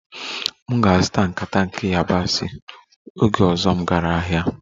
M ga-azụta nkata nke yabasị oge ọzọ m gara ahịa